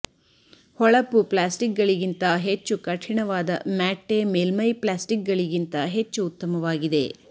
ಹೊಳಪು ಪ್ಲ್ಯಾಸ್ಟಿಕ್ಗಳಿಗಿಂತ ಹೆಚ್ಚು ಕಠಿಣವಾದ ಮ್ಯಾಟ್ಟೆ ಮೇಲ್ಮೈ ಪ್ಲ್ಯಾಸ್ಟಿಕ್ಗಳಿಗಿಂತ ಹೆಚ್ಚು ಉತ್ತಮವಾಗಿದೆ